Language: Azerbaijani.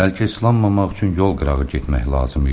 Bəlkə islanmamaq üçün yol qırağı getmək lazım idi.